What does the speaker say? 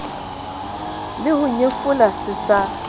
le ho nyefola se sa